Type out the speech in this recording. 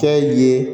Fɛn ye